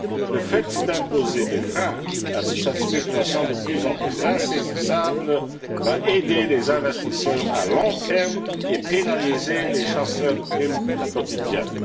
Le fait d'imposer des freins à cette spéculation de plus en plus insaisissable va aider les investisseurs à long terme et pénaliser les chasseurs de primes quotidiennes.